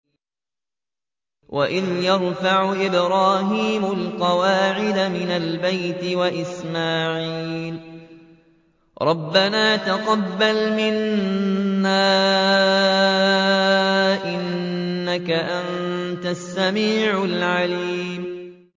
وَإِذْ يَرْفَعُ إِبْرَاهِيمُ الْقَوَاعِدَ مِنَ الْبَيْتِ وَإِسْمَاعِيلُ رَبَّنَا تَقَبَّلْ مِنَّا ۖ إِنَّكَ أَنتَ السَّمِيعُ الْعَلِيمُ